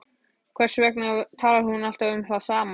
Hvers vegna talar hún alltaf um það sama?